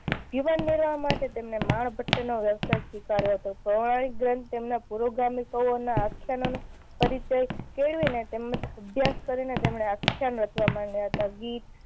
જીવન નિર્વાહ માટે તેમણે માણભટ્ટ નો વ્યવસાય સ્વીકાર્યો હતો. પૌરાણિક ગ્રંથ તેમના પૂર્વ ગામીકો ના આખ્યાનો નો પરિચય કેળવીને તેમ જ અભ્યાસ કરી ને તેમણે આખ્યાન રચવા માંડ્યા હતા. ગીત